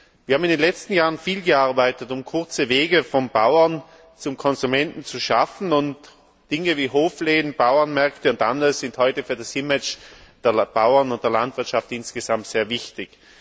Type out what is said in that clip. Wir haben in den letzten Jahren viel gearbeitet, um kurze Wege vom Bauern zum Konsumenten zu schaffen, und Dinge wie Hofleben, Bauernmärkte und anderes sind heute für das Image der Bauern und der Landwirtschaft insgesamt sehr wichtig.